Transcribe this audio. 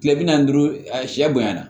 Kile bi naani ni duuru a siyɛ bonyana